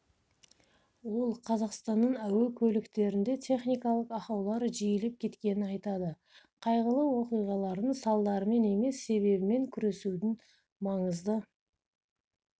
ол қазақстанның әуе көліктерінде техникалық ақаулар жиілеп кеткенін айтады қайғылы оқиғалардың салдарымен емес себебімен күресудің маңызды